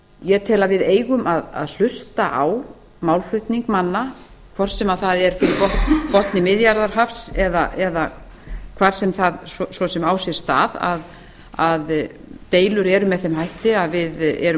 ég tel að við eigum að hlusta á málflutning manna hvort sem það er fyrir botni miðjarðarhafs eða hvað svo sem það á sér stað að deilur eru með þeim hætti að við erum